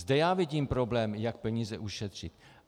Zde já vidím problém, jak peníze ušetřit.